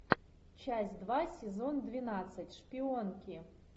часть два сезон двенадцать шпионки